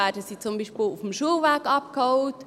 Werden sie zum Beispiel auf dem Schulweg abgeholt?